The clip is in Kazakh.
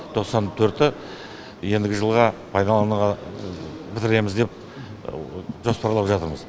тоқсан төрті ендігі жылға пайдалануға бітіреміз деп жоспарлап жатырмыз